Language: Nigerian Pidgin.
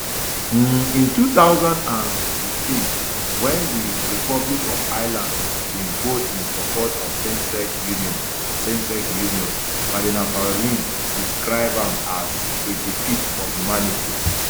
um in two thousand and fifteen wen di republic of ireland bin vote in support of samesex unions samesex unions cardinal parolin describe am as a defeat for humanity